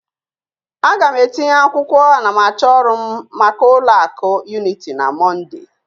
A ga m etinye akwụkwọ anamachọ ọrụ m maka ụlọ akụ Unity na Mọnde